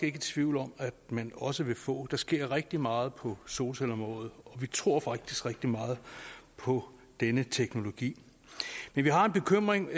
i tvivl om at man også vil få der sker rigtig meget på solcelleområdet og vi tror faktisk rigtig meget på denne teknologi men vi har en bekymring